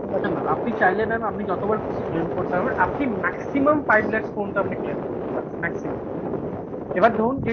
না আপনি চাইলে mam আপনি যতবার খুশি claim করতে আপনি maximum five lacks পর্যন্ত আপনি claim করতে পারছেন maximum এবার ধরুন